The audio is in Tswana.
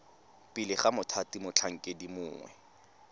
pele ga mothati motlhankedi mongwe